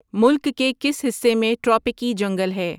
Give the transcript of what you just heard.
ملک کے کس حصے میں ٹراپیکی جنگل ہے